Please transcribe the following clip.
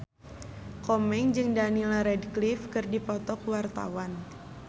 Komeng jeung Daniel Radcliffe keur dipoto ku wartawan